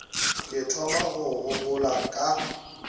ke thoma go gopola ka